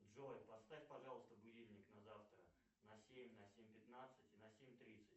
джой поставь пожалуйста будильник на завтра на семь на семь пятнадцать и на семь тридцать